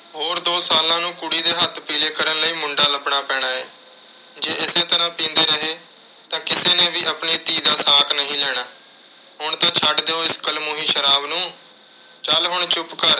ਹੋਰ ਦੋ ਸਾਲਾਂ ਨੂੰ ਕੁੜੀ ਦੇ ਹੱਥ ਪੀਲੇ ਕਰਨ ਲਈ ਮੁੰਡ਼ਾ ਲੱਭਣਾ ਪੈਣਾ ਏ। ਜੇ ਇਸੇ ਤਰ੍ਹਾਂ ਪੀਂਦੇ ਰਹੇ ਤਾਂ ਕਿਸੇ ਨੇ ਵੀ ਆਪਣੀ ਧੀ ਦਾ ਸਾਕ ਨਹੀਂ ਲੈਣਾ। ਹੁਣ ਤਾਂ ਛੱਡ ਦਿਓ, ਇਸ ਕਲਮੂਹੀ ਸ਼ਰਾਬ ਨੂੰ। ਚੱਲ ਹੁਣ ਚੁੱਪ ਕਰ।